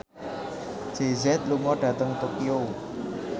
Jay Z lunga dhateng Tokyo